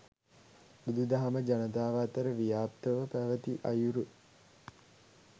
බුදුදහම ජනතාව අතර ව්‍යාප්තව පැවැති අයුරු